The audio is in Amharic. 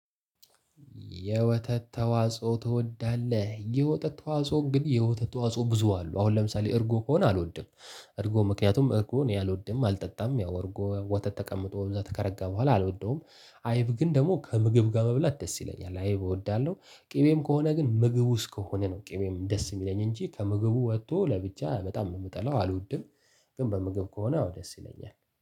የወተት ተዋጽኦ ትወዳለህ? የተት ተዋጽኦ ግን የወተት ተዋጽኦ ብዙ አሉ አሁን ለምሳሌ እርጎ ከሆነ አልወድም። እርጎ ምክንያቱም እርጎ እኔ አልወድም አልጠጣም ያው እርጎ ወተት ተቀምጦ እዛ ከረጋ በኋላ አልወደውም። አይብ ግን ደሞ ከምግብ ጋር መብላት ደስ ይለኛል አይብ እወዳለሁ። ቂቤም ከሆነ ግን ምግብ ውስጥ ከሆነ ነው ቂቤም ደስ እሚለኝ እንጂ ከምግቡ ወቶ ለብቻ በጣም ነው እምጠላው አልወድም። ግን በምግብ ከሆነ ያው ደስ ይለኛል